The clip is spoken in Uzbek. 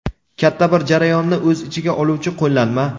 katta bir jarayonni o‘z ichiga oluvchi qo‘llanma.